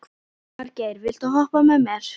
Margeir, viltu hoppa með mér?